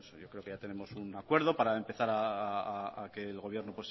yo creo que ya tenemos un acuerdo para empezar a que el gobierno